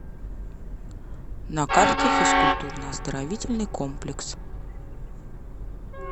на карте физкультурно оздоровительный комплекс